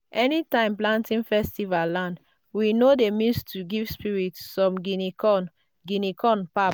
time planting festival land we no dey miss to give spirits some guinea corn guinea corn pap.